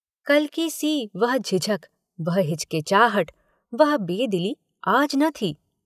कल की सी वह झिझक वह हिचकिचाहट वह बेदिली आज न थी।